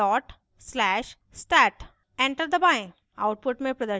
type करें /stat dot slash stat enter दबाएं